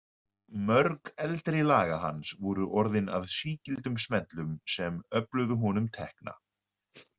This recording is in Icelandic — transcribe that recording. Mörg eldri laga hans voru orðin að sígildum smellum sem öfluðu honum tekna.